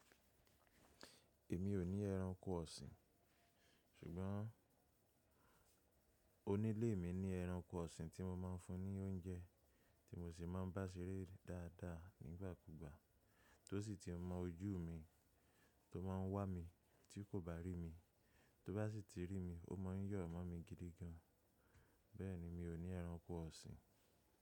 Èmi ò ní ẹranko ọ̀sìn, ṣùgbọ́n onílé mi ní ẹranko ọ̀sìn tí mo máa ń fún ní óúnjẹ tí mo sì máa ń bá ṣeré dáadáa nígbà kúgbà, tó sì ti mọ ojú mi, tó máa ń wá mi tí kò bá rí mi. Tó bá sì ti rí mi, ó máa ń yọ̀ mọ́ mi gidi gan. Bẹ́ẹ̀ni, mi ò ní ẹranko ọ̀sìn.